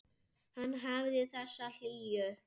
Hann hafði þessa hlýju.